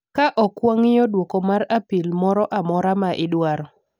Ka ok wang'iyo duoko mar apil moro amora ma idwaro,